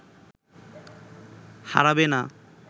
হারাবে না